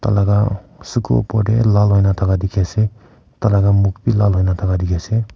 tailaga suku opor te lal hoina thaka dikhi ase tai laga muk bi lal hoina thaka dikhi ase.